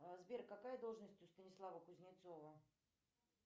сбер какая должность у станислава кузнецова